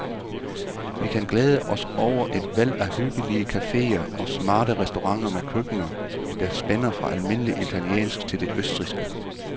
Vi kan glæde os over et væld af hyggelige caféer og smarte restauranter med køkkener, der spænder fra almindelig italiensk til det østrigske.